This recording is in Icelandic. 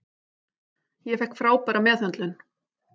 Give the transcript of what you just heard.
Ég fékk frábæra meðhöndlun.